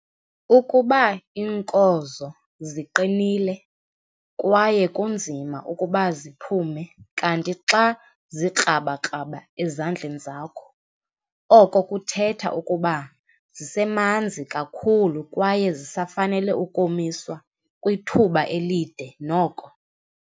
Ukuba iinkozo ziqinile kwaye kunzima ukuba ziphume kanti xa zikrabakraba ezandleni zakho, oko kuthetha ukuba zisemanzi kakhulu kwaye zisafanele ukomiswa kwithuba elide noko.